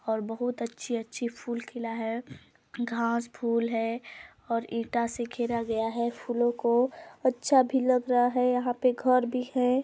और बहुत अच्छी-अच्छी फूल खिला है घास फुल है और ईटा से घेरा गया है फूलों को अच्छा भी लग रहा है यहाँ पे घर भी है।